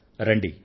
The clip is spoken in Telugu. రండి